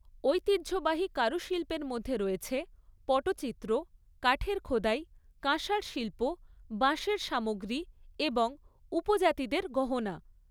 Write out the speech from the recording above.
ঐতিহ্যবাহী কারুশিল্পের মধ্যে রয়েছে পটচিত্র, কাঠের খোদাই, কাঁসার শিল্প, বাঁশের সামগ্রী এবং উপজাতিদের গহনা।